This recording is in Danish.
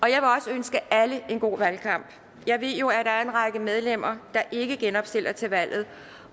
ønske alle en god valgkamp jeg ved jo at der er en række medlemmer der ikke genopstiller til valget